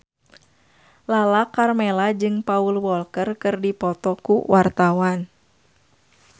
Lala Karmela jeung Paul Walker keur dipoto ku wartawan